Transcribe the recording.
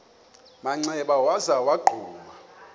manxeba waza wagquma